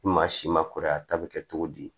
Ni maa si ma kɔrɔ a ta bɛ kɛ cogo di